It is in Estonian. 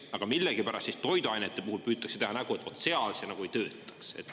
Aga millegipärast toiduainete puhul püütakse teha nägu, et vot seal see nagu ei töötaks.